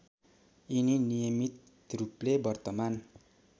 यिनी नियमितरूपले वर्तमान